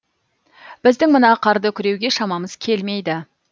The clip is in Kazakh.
біздің мына қарды күреуге шамамыз келмейді